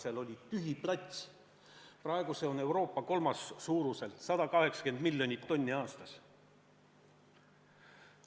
Siis oli seal tühi plats, praegu on see Euroopa suuruselt kolmas sadam, 180 miljonit tonni aastas.